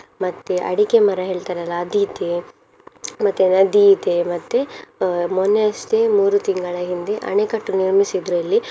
ಮತ್ತೆ ಅಡಿಕೆ ಮರ ಹೇಳ್ತಾರಲ್ಲ ಅದು ಇದೆ ಮತ್ತೆ ನದಿ ಇದೆ ಮತ್ತೆ ಅಹ್ ಮೊನ್ನೆ ಅಷ್ಟೆ ಮೂರೂ ತಿಂಗಳ ಹಿಂದೆ ಅಣೆಕಟ್ಟು ನಿರ್ಮಿಸಿದ್ರು ಅಲ್ಲಿ.